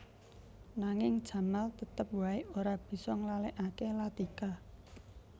Nanging Jamal tetep waé ora bisa nglalèkaké Latika